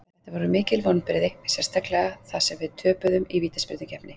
Þetta voru mikil vonbrigði, sérstaklega þar sem við töpuðum í vítaspyrnukeppni.